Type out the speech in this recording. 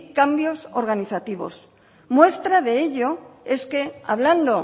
cambios organizativos muestra de ello es que hablando